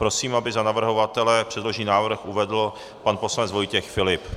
Prosím, aby za navrhovatele předložený návrh uvedl pan poslanec Vojtěch Filip.